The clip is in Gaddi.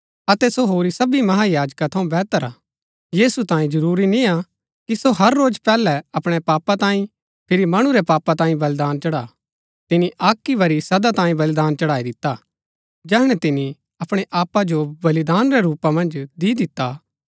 अतै सो होरी सबी महायाजका थऊँ वेहतर हा यीशु तांये जरूरी निय्आ कि सो हर रोज पैहलै अपणै पापा तांई फिरी मणु रै पापा तांई बलिदान चढ़ा तिनी अक ही बरी सदा तांये बलिदान चढ़ाई दिता जैहणै तिनी अपणै आपा जो बलिदान रै रूपा मन्ज दी दिता